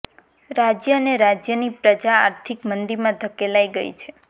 રાજય અને રાજયની પ્રજા આર્થિક મંદીમાં ધકેલાઈ ગઈ છે